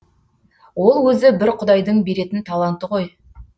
ол өзі бір құдайдың беретін таланты ғой